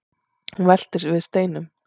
hún veltir við steinum